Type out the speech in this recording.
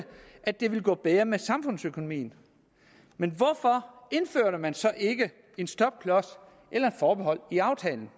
at det ville gå bedre med samfundsøkonomien men hvorfor indførte man så ikke en stopklods eller et forbehold i aftalen